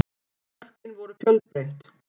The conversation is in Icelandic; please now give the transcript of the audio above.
Mörkin voru fjölbreytt